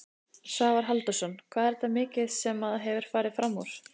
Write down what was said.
Svavar Halldórsson: Hvað er þetta mikið sem að hefur farið framúr?